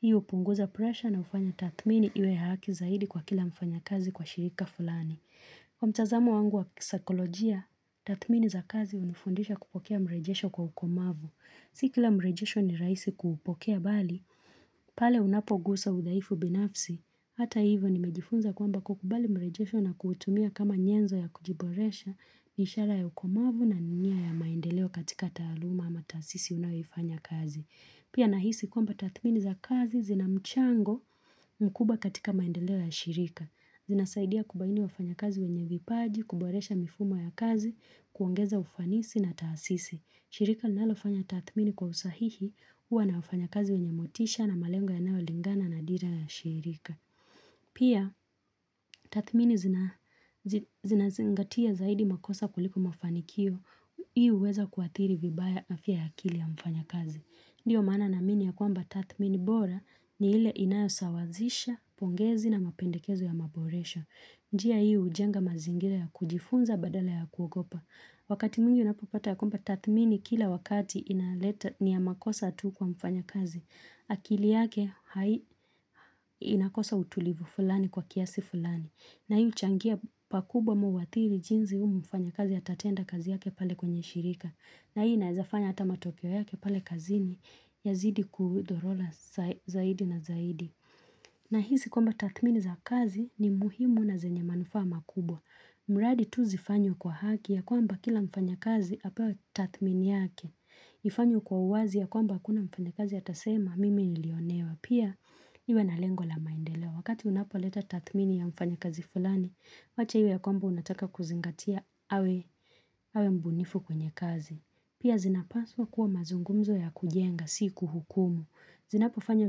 Hii hupunguza pressure na hufanya tathmini iwe ya haki zaidi kwa kila mfanya kazi kwa shirika fulani. Kwa mtazamo wangu wa kisaikolojia, tathmini za kazi hunifundisha kupokea mrejesho kwa ukomavu. Si kila mrejesho ni rahisi kuupokea bali, pale unapoguswa udhaifu binafsi. Hata hivyo nimejifunza kwamba kukubali mrejesho na kuutumia kama nyenzo ya kujiboresha, ni ishara ya ukomavu na ni nia ya maendeleo katika taaluma ama taasisi unayofanya kazi. Pia nahisi kwamba tathmini za kazi zina mchango mkubwa katika maendeleo ya shirika. Zinasaidia kubaini wafanya kazi wenye vipaji, kuboresha mifumo ya kazi, kuongeza ufanisi na taasisi. Shirika linalofanya tathmini kwa usahihi huwa na wafanya kazi wenye motisha na malengo yanayo lingana na dira ya shirika. Pia, tathmini zinazingatia zaidi makosa kuliko mafanikio, Hii huweza kuathiri vibaya afya ya akili ya mfanya kazi. Ndiyo maana naamini ya kwamba tathmini bora ni ile inayo sawazisha, pongezi na mapendekezo ya maboresho. Njia hii hujenga mazingira ya kujifunza badala ya kuogopa. Wakati mwingi unapopata ya kwamba tathmini kila wakati inaleta ni ya makosa tu kwa mfanya kazi. Akili yake hai inakosa utulivu fulani kwa kiasi fulani. Na hii huchangia pakubwa ama huathiri jinsi huyu mfanyakazi atatenda kazi yake pale kwenye shirika. Na hii inaeza fanya hata matokeo yake pale kazini yazidi kudorola zaidi na zaidi. Nahisi kwamba tathmini za kazi ni muhimu na zenye manufaa makubwa mradi tu zifanye kwa haki ya kwamba kila mfanya kazi apewa tathmini yake ifanye kwa uwazi ya kwamba hakuna mfanya kazi atasema mimi nilionewa Pia iwe na lengo la maendeleo Wakati unapoleta tathmini ya mfanya kazi fulani Wache iwe ya kwamba unataka kuzingatia awe mbunifu kwenye kazi Pia zinapaswa kuwa mazungumzo ya kujenga si kuhukumu Zinapo fanya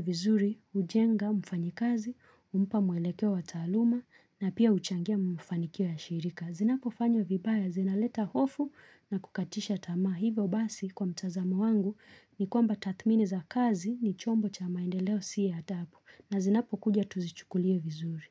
vizuri, hujenga, mfanyakazi, humpa mweleke wa taaluma na pia huchangia mafanikio ya shirika. Zinapo fanya vibaya, zinaleta hofu na kukatisha tamaa hivyo basi kwa mtazamo wangu ni kwamba tathmini za kazi ni chombo cha maendeleo siya adhabu na zinapo kuja tuzichukulie vizuri.